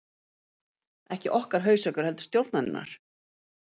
Ekki okkar hausverkur heldur stjórnarinnar